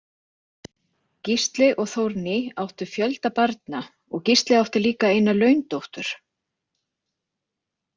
Gísli og Þórný áttu fjölda barna og Gísli átti líka eina laundóttur.